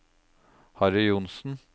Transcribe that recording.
Harry Johnsen